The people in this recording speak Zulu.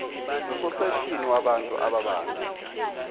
nososeshini wabantu ababambe